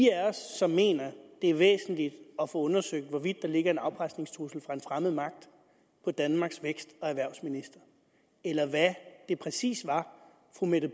af os som mener det er væsentligt at få undersøgt hvorvidt der ligger en afpresningstrussel fra en fremmed magt på danmarks vækst og erhvervsminister eller hvad det præcis var fru mette